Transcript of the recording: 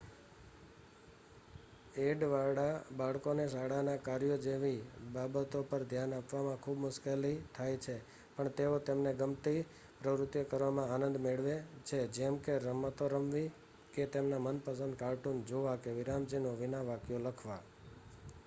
addવાળાં બાળકોને શાળાના કાર્ય જેવી બાબતો પર ધ્યાન આપવામાં ખૂબ મુશ્કેલી થાય છે પણ તેઓ તેમને ગમતી પ્રવૃત્તિઓ કરવામાં આનંદ મેળવે છે જેમ કે રમતો રમવી કે તેમના મનપસંદ કાર્ટૂન જોવાં કે વિરામચિહ્નો વિના વાક્યો લખવા